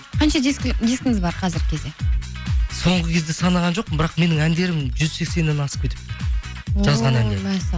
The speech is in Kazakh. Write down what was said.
қанша дискіңіз бар қазіргі кезде соңғы кезде санаған жоқпын бірақ менің әндерім жүз сексеннен асып кетіпті жазған әндерім